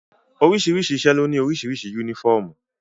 Oríṣiríṣi iṣẹ́ ló ní oríṣiríṣi yúnífọ̀mù